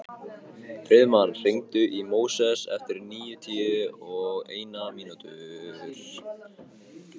Friðmann, hringdu í Móses eftir níutíu og eina mínútur.